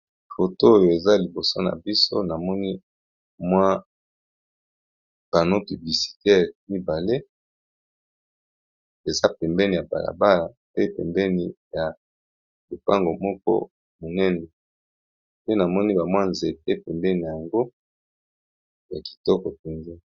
Photo oyo eza liboso na biso namoni mwa pano pubisitee mibale eza pembeni ya balabala pe pembeni ya lopango moko monene pe namoni bamwa nzepe pembeni yango ya kitoko penza.